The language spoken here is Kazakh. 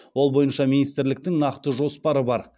ол бойынша министрліктің нақты жоспары бар